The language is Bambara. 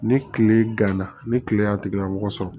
Ni kile ganna ni kile y'a tigilamɔgɔ sɔrɔ